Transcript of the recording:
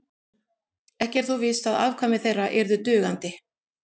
ekki er þó víst að afkvæmi þeirra yrðu dugandi